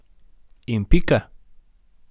In pika.